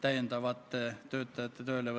Aitäh, lugupeetud ettekandja!